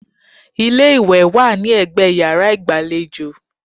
Ilé-ìwẹ̀ wà ní ẹgbẹ́ yàrá ìgbàlejò